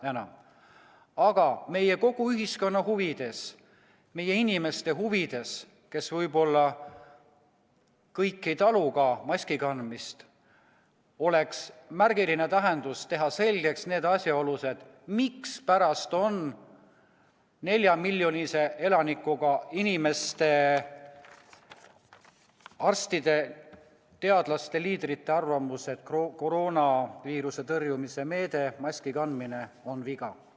Aga kogu meie ühiskonna huvides, meie inimeste huvides, kes kõik võib-olla ei talu maski kandmist, oleks märgiline teha selgeks need asjaolud, mispärast on neljamiljonilise elanikkonnaga osariikide arstide, teadlaste ja liidrite arvamus, et koroonaviiruse tõrjumise meetmena on maski kandmine viga.